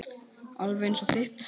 Alveg eins og þitt.